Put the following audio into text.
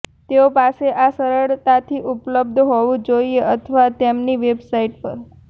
તેઓ પાસે આ સરળતાથી ઉપલબ્ધ હોવું જોઈએ અથવા તેમની વેબસાઇટ પર